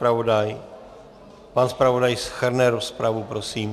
Pan zpravodaj shrne rozpravu, prosím.